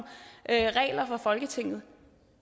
regler fra folketinget